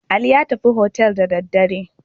Ali ya tafi hotel da daddare.